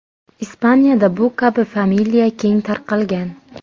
Ispaniyada bu kabi familiya keng tarqalgan.